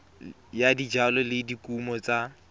ya dijalo le dikumo tsa